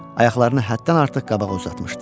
Ayaqlarını həddən artıq qabağa uzatmışdı.